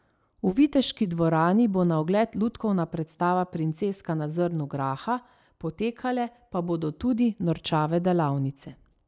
V viteški dvorani bo na ogled lutkovna predstava Princeska na zrnu graha, potekale pa bodo tudi norčave delavnice.